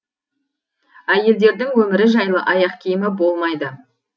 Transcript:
әйелдердің өмірі жайлы аяқкиімі болмайды